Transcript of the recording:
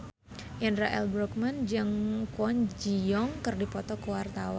Indra L. Bruggman jeung Kwon Ji Yong keur dipoto ku wartawan